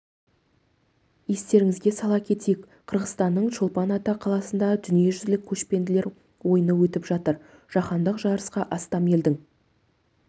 естеріңізге сала кетейік қырғызстанның чолпан ата қаласында дүниежүзілік көшпенділер ойыны өтіп жатыр жаһандық жарысқа астам елдің